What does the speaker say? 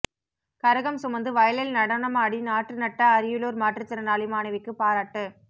கரகம் சுமந்து வயலில் நடனமாடி நாற்று நட்ட அரியலூர் மாற்றுத்திறனாளி மாணவிக்கு பாராட்டு